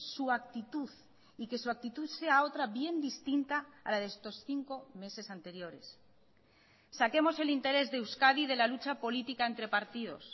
su actitud y que su actitud sea otra bien distinta a la de estos cinco meses anteriores saquemos el interés de euskadi de la lucha política entre partidos